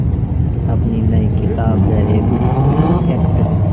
अपनी नई किताब द रैबिट इफ़ेक्ट